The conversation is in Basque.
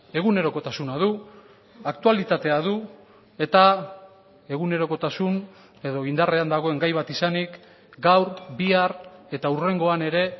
egunerokotasuna du aktualitatea du eta egunerokotasun edo indarrean dagoen gai bat izanik gaur bihar eta hurrengoan ere